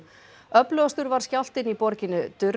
öflugastur var skjálftinn í borginni